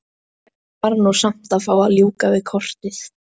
Hann varð nú samt að fá að ljúka við kortið.